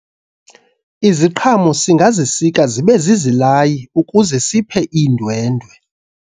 iziqhamo singazisika zibe zizilayi ukuze siphe iindwendwe